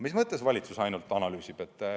Mis mõttes valitsus ainult analüüsib?